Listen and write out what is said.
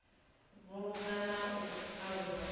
vhulunga na u alusa vhuḓi